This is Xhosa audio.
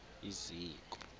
iziko